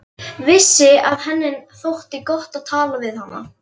Vissi að henni þótti gott að tala við hana.